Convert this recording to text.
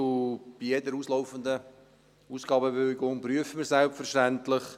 Bei jeder auslaufenden Ausgabebewilligung überprüfen wir selbstverständlich: